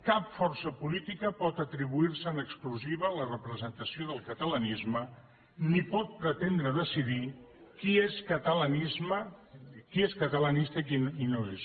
cap força política pot atribuir se en exclusiva la representació del catalanisme ni pot pretendre decidir qui és catalanista i qui no ho és